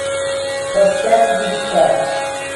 поставь витька